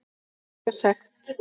Borga sekt?